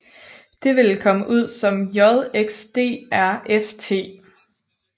Det ville komme ud som JXDRFT